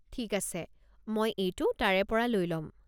ঠিক আছে, মই এইটো তাৰে পৰা লৈ ল'ম।